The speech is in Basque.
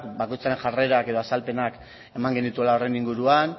bakoitzaren jarrerak edo azalpenak eman genituela horren inguruan